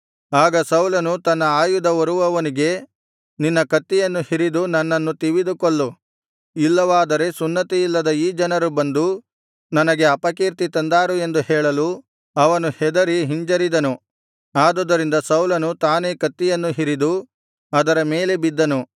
ಆಗ ಸೌಲನು ತನ್ನ ಆಯುಧ ಹೊರುವವನಿಗೆ ನಿನ್ನ ಕತ್ತಿಯನ್ನು ಹಿರಿದು ನನ್ನನ್ನು ತಿವಿದು ಕೊಲ್ಲು ಇಲ್ಲವಾದರೆ ಸುನ್ನತಿಯಿಲ್ಲದ ಈ ಜನರು ಬಂದು ನನಗೆ ಅಪಕೀರ್ತಿ ತಂದಾರು ಎಂದು ಹೇಳಲು ಅವನು ಹೆದರಿ ಹಿಂಜರಿದನು ಆದುದರಿಂದ ಸೌಲನು ತಾನೇ ಕತ್ತಿಯನ್ನು ಹಿರಿದು ಅದರ ಮೇಲೆ ಬಿದ್ದನು